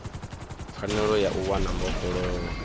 pfanelo ya u wana mbofholowo